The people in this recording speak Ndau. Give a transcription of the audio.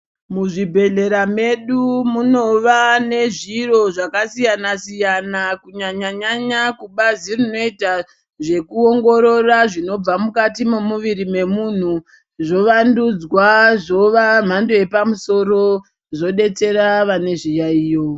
Muzvibhedhlera medu minova nezviro zvakasiyana siyana kunyanya nyanya kubazi rinoita zvokuongorora zvinobva mukati mwemuviri wemunhu zvovandudzwa zviva mhando yepamusoro zvodetsera vane zviyaiyo.